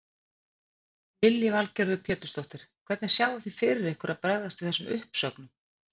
Lillý Valgerður Pétursdóttir: Hvernig sjáið þið fyrir ykkur að bregðast við þessum uppsögnum?